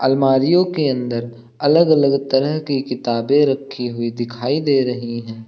अलमारीयों के अंदर अलग अलग तरह की किताबें रखी हुई दिखाई दे रही हैं।